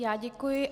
Já děkuji.